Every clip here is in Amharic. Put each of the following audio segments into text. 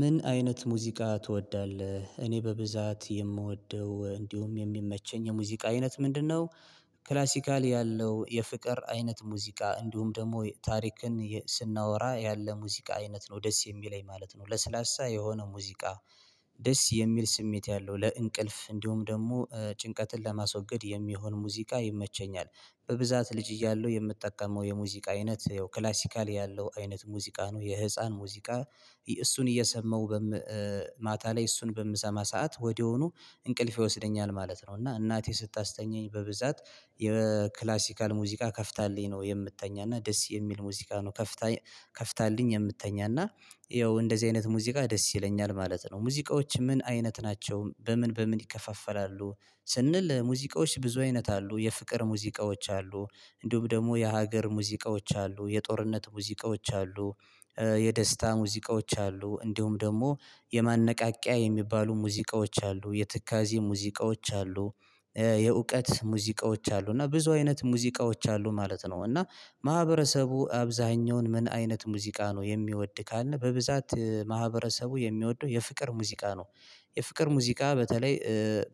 ምን አይነት ሙዚቃ ትወዳለህ እኔ በብዛት የምወደው እንዲሁም የሚመቸኝ የሙዚቃ አይነት ምንድነው? ክላሲካል ያለው የፍቅር አይነት ሙዚቃ እንዲሁም ደግሞ ታሪክን ስናወራ ያለ ሙዚቃ አይነት ነው ደስ የሚለኝ ማለት ነው ለስላሳ የሆነ ሙዚቃ ደስ የሚል ስሜት ያለው ለእንቅልፍ እንዲሁም ደግሞ ጭንቀትን ለማስወገድ የሚሆን ሙዚቃ ይመቸኛል። በብዛት ልጅ እያለሁ የምጠቀመው የሙዚቃ አይነት ያው ክላሲካል ያለው አይነት ሙዚቃ ነው የህፃን ሙዚቃ። እሱን እየሰማው ማታ ላይ እሱን በምሰማ ሰዓት ወዲያኑ እንቅልፍ ይወስደኛል ማለት ነው። እና እናቴ ስታስተኛኝ በብዛት የክላሲካል ሙዚቃ ከፍታልኝ ነው የምትተኛና ደስ የሚል ሙዚቃ ነው። ከፍታልኝ የምትተኛና ይኸው እንደዚህ አይነት ሙዚቃ ደስ ይለኛል ማለት ነው። ሙዚቃዎች ምን አይነት ናቸው በምን በምን ይከፋፈላሉ? ስንል ሙዚቃዎች ብዙ አይነት አሉ የፍቅር ሙዚቃዎች አሉ። እንዲሁም ደግሞ የሀገር ሙዚቃዎች አሉ የጦርነት ሙዚቃዎች አሉ። የደስታ ሙዚቃዎች አሉ እንዲሁም ደግሞ የማነቃቂያ የሚባሉ ሙዚቃዎች አሉ የትካዜ ሙዚቃዎች አሉ። የእውቀት ሙዚቃዎች አሉ እና ብዙ አይነት ሙዚቃዎች አሉ ማለት ነው። እና ማህበረሰቡ አብዛኛውን ምን አይነት ሙዚቃ ነው የሚወድ ካልነ በብዛት ማህበረሰቡ የሚወደው የፍቅር ሙዚቃ ነው። የፍቅር ሙዚቃ በተለይ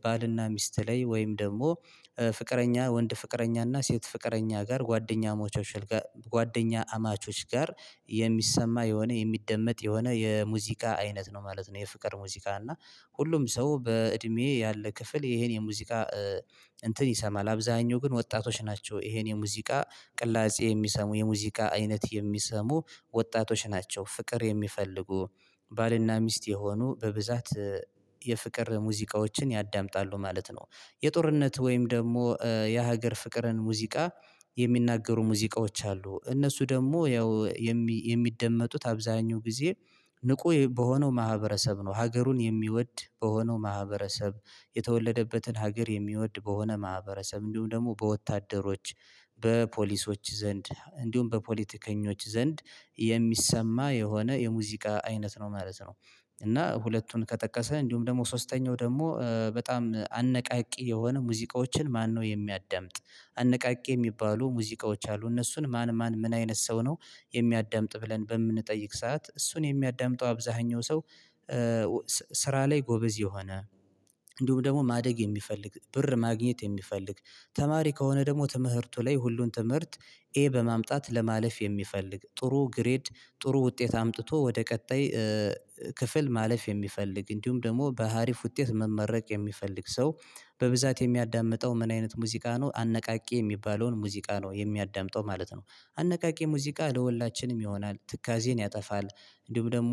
ባልና ሚስት ላይ ወይም ደግሞ ፍቅረኛ ወንድ ፍቅረኛ እና ሴት ፍቅረኛ ጋር ጓደኛ አማቾች ጓደኛ አማቾች ጋር የሚሰማ የሆነ የሚደመጥ የሆነ የሙዚቃ አይነት ነው ማለት ነው። የፍቅር ሙዚቃ እና ሁሉም ሰው በእድሜዬ ያለ ክፍል ይሄን የሙዚቃ እንትን ይሰማል አብዛኛው ግን ወጣቶች ናቸው። ይሄን የሙዚቃ ቅላጼ የሚሰሙ የሙዚቃ አይነት የሚሰሙ ወጣቶች ናቸው ፍቅር የሚፈልጉ ባልና ሚስት የሆኑ በብዛት የፍቅር ሙዚቃዎችን ያዳምጣሉ ማለት ነው። የጦርነት ወይም ደግሞ የሀገር ፍቅርን ሙዚቃ የሚናገሩ ሙዚቃዎች አሉ። እነሱ ደግሞ ያው የሚደመጡት አብዛኛው ጊዜ ንቁ በሆነው ማህበረሰብ ነው ሀገሩን የሚወድ በሆነው ማህበረሰብ የተወለደበትን ሀገር የሚወድ በሆነ ማህበረሰብ እንዲሁም ደግሞ በወታደሮች በፖሊሶች ዘንድ እንዲሁም በፖለቲከኞች ዘንድ የሚሰማ የሆነ የሙዚቃ አይነት ነው ማለት ነው። እና ሁለቱን ከጠቀስነ እንዲሁም ደግሞ ሶስተኛው ደግሞ በጣም አነቃቂ የሆነ ሙዚቃዎችን ማነው የሚያዳምጥ? አነቃቂ የሚባሉ ሙዚቃዎች አሉ እነሱን ማን ማን ምን አይነት ሰው ነው? የሚያዳምጥ ብለን በምንጠይቅ ሰዓት እሱን የሚያዳምጠው አብዛኛው ሰው። ስራ ላይ ጎበዝ የሆነ እንዲሁም ደግሞ ማደግ የሚፈልግ ብር ማግኘት የሚፈልግ ተማሪ ከሆነ ደግሞ ትምህርቱ ላይ ሁሉን ትምህርት ኤ በማምጣት ለማለፍ የሚፈልግ ጥሩ ግሬድ ጥሩ ውጤት አምጥቶ ወደ ቀጣይ ክፍል ማለፍ የሚፈልግ እንዲሁም ደግሞ በሀሪፍ ውጤት መመረቅ የሚፈልግ ሰው በብዛት የሚያዳምጠው ምን አይነት ሙዚቃ ነው? አነቃቂ የሚባለውን ሙዚቃ ነው የሚያዳምጠው ማለት ነው። አነቃቂ ሙዚቃ ለወላችንም ይሆናል ትካዜን ያጠፋል እንዲሁም ደግሞ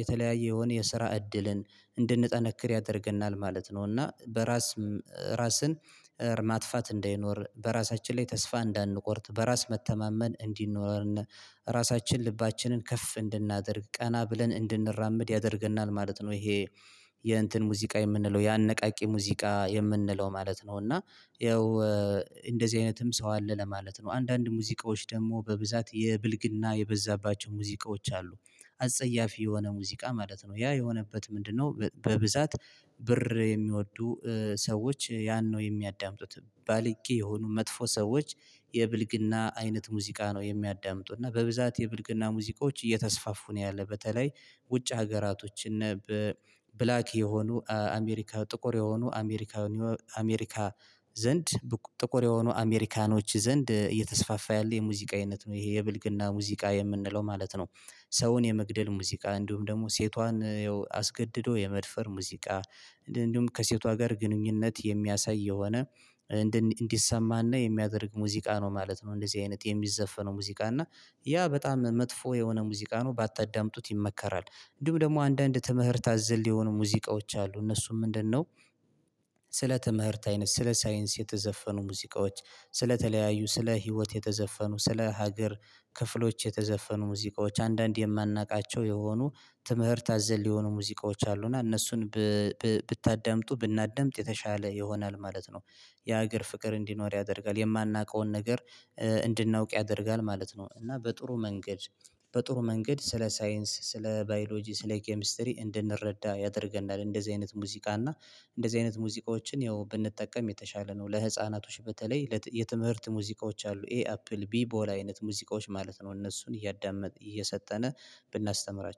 የተለያየ የሆነ የስራ እድልን እንድንጠነክር ያደርገናል ማለት ነው። እና በራስ ራስን ማጥፋት እንደይኖር በራሳችን ላይ ተስፋ እንዳንቆርጥ በራስ መተማመን እንዲኖርነ ራሳችን ልባችንን ከፍ እንድናደርግ ቀና ብለን እንድንራመድ ያደርገናል ማለት ነው። ይሄ የእንትን ሙዚቃ የምንለው የአነቃቂ ሙዚቃ የምንለው ማለት ነው። እና ይኸው እንደዚህ አይነትም ሰው አለ ለማለት ነው። አንዳንድ ሙዚቃዎች ደግሞ በብዛት የብልግና የበዛባቸው ሙዚቃዎች አሉ። አጸያፊ የሆነ ሙዚቃ ማለት ነው ያ የሆነበት ምንድነው? በብዛት ብር የሚወዱ ሰዎች ያን ነው ባለጌ የሆኑ መጥፎ ሰዎች የብልግና አይነት ሙዚቃ ነው የሚያዳምጡት እና በብዛት የብልግና ሙቃዎች እየተስፋፉ ነው ያለ በተለይ ውጭ ሀገራቶች እነ ብላክ የሆኑ አሜሪካ ጥቁር የሆኑ አሜሪካ አሜሪካ ዘንድ ጥቁር የሆኑ አሜሪካኖች ዘንድ እየተስፋፋ ያለ የሙዚቃ አይነት ነው ይሄ የብልግና ሙዚቃ የምንለው ማለት ነው። ሰውን የመግደል ሙዚቃ እንዲሁም ደግሞ ሴቷን አስገድዶ የመድፈር ሙዚቃ እንዲሁም ከሴቷ ጋር ግንኙነት የሚያሳይ የሆነ እንደነ እንዲሰማና የሚያደርግ ሙዚቃ ነው ማለት ነው እንደዚህ አይነት የሚዘፈነው ሙዚቃ እና ያ በጣም መጥፎ የሆነ ሙዚቃ ነው ባታጠዳምጡት ይመከራል። እንዲሁም ደግሞ አንዳንድ ትምህርት አዘል የሆኑ ሙዚቃዎች አሉ እነሱም ምንድነው? ስለ ትምህርት አይነት ስለ ሳይንስ የተዘፈኑ ሙዚቃዎች ስለተለያዩ ስለ ህይወት የተዘፈኑ ስለ ሀገር ክፍሎች የተዘፈኑ ሙዚቃዎች አንዳንድ የማናውቃቸው የሆኑ ትምህርት አዘል የሆኑ ሙዚቃዎች አሉ እና እነሱን ብታዳምጡ ብናዳምጥ የተሻለ ይሆናል ማለት ነው። የሀገር ፍቅር እንዲኖር ያደርጋል የማናውቀውን ነገር እንድናውቅ ያደርጋል ማለት ነው። እና በጥሩ መንገድ በጥሩ መንገድ ስለ ሳይንስ ስለ ባዮሎጂ ስለ ኬሚስትሪ እንድንረዳ ያደርገናል እንደዚህ አይነት ሙዚቃ እና እንደዚህ አይነት ሙዚቃዎችን ያው ብንጠቀም የተሻለ ነው። ለህፃናቶች በተለይ የትምህርት ሙዚቃዎች አሉ ኤ አፕል ቢ ቦላ አይነት ሙዚቃዎች ማለት ነው። እነሱን እያዳመጥ እየሰጠነ ብናስተምራቸው